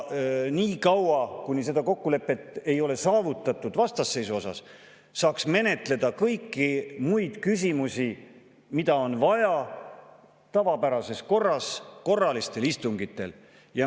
Niikaua, kuni seda kokkulepet vastasseisu osas ei ole saavutatud, saaks menetleda kõiki muid küsimusi, mida on vaja menetleda, tavapärases korras korralistel istungitel.